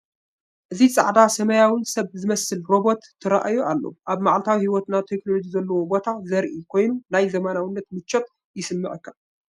እዚ ጻዕዳን ሰማያውን ሰብ ዝመስል ሮቦት ተራእዩ ኣሎ። ኣብ መዓልታዊ ህይወትና ቴክኖሎጂ ዘለዎ ቦታ ዘርኢ ኮይኑ፡ ናይ ዘመናዊነትን ምቾትን ይስምዓካ፡፡